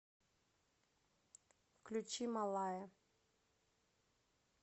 включи малая